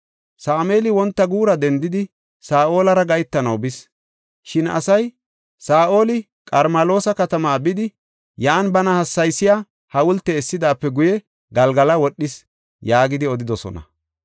Sameeli wonta guura dendidi, Saa7olara gahetanaw bis. Shin asay, “Saa7oli Qarmeloosa katamaa bidi, yan bana hassaysiya hawulte essidaape guye, Galgala wodhis” yaagidi odidosona.